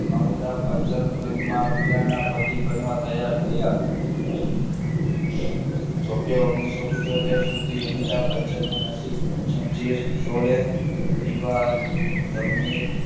Amitabh Bachchan film માં મીરાના પતિ બનવા તૈયાર થયા જોકે ઓગણીસો પીન્ચોતેર સુધી અમિતાભ બચ્ચનની નસીબ છોલે દિવાલ જમીન